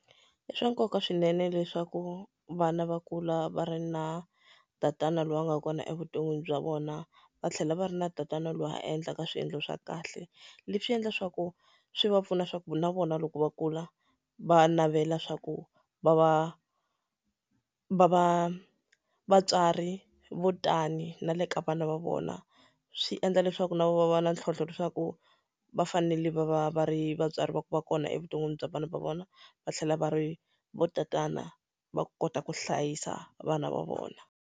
I swa nkoka swinene leswaku vana va kula va ri na tatana loyi a nga kona evuton'wini bya vona, va tlhela va ri na tatana loyi a endlaka swiendlo swa kahle. Leswi swi endla leswaku swi va pfuna leswaku na vona loko va kula, va navela leswaku va va va va vatswari vo tani na le ka vana va vona. Swi endla leswaku na vona va va na ntlhontlho leswaku va fanele va va va ri vatswari va ku va kona evuton'wini bya vana va vona, va tlhela va ri vatatana va ku kota ku hlayisa vana va vona.